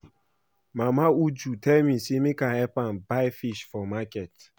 Mama Uju tell me say make I help am buy fish for market